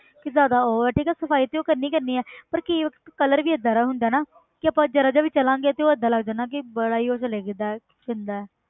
ਕਿ ਜ਼ਿਆਦਾ ਉਹ ਹੈ ਠੀਕ ਹੈ ਸਫ਼ਾਈ ਤੇ ਉਹ ਕਰਨੀ ਕਰਨੀ ਹੈ ਪਰ ਕੀ ਇੱਕ colour ਵੀ ਏਦਾਂ ਦਾ ਹੁੰਦਾ ਨਾ ਕਿ ਆਪਾਂ ਜ਼ਰਾ ਜਿਹਾ ਵੀ ਚੱਲਾਂਗੇ ਤੇ ਉਹ ਏਦਾਂ ਲੱਗਦਾ ਨਾ ਕਿ ਬੜਾ ਹੀ ਉਹ ਜਿਹਾ ਲੱਗਦਾ ਗੰਦਾ।